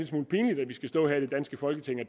smule pinligt at vi skal stå her i det danske folketing og